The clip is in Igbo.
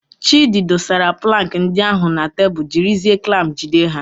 Chidi dosara plankị ndị ahụ na tebụl jiri zie klamp jide ha.